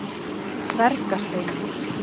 Dvergasteini